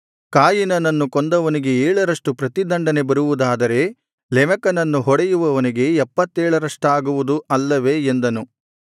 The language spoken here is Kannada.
ಕಾಯಿನನನ್ನು ಕೊಂದವನಿಗೆ ಏಳರಷ್ಟು ಪ್ರತಿದಂಡನೆ ಬರುವುದಾದರೆ ಲೆಮೆಕನನ್ನು ಹೊಡೆಯುವವನಿಗೆ ಎಪ್ಪತ್ತೇಳರಷ್ಟಾಗುವುದು ಅಲ್ಲವೇ ಎಂದನು